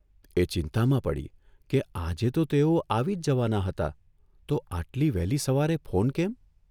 એ ચિંતામાં પડી કે આજે તો તેઓ આવી જ જવાના હતા તો આટલી વહેલી સવારે ફોન કેમ?